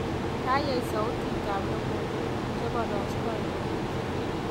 Kayeey sautitab logoywek chebarastoi koet